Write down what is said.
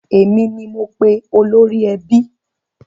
Èmi ni mo pe olórí ẹbí.